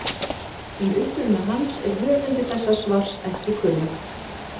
Um uppruna hans er höfundi þessa svars ekki kunnugt.